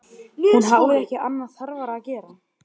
Hún hafði ekki annað þarfara að gera.